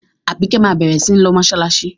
Àbíkẹ́ máa bẹ̀rẹ̀ sí ní lọ mọ́ṣáláṣí.